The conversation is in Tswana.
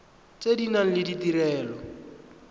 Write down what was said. tse di nang le ditirelo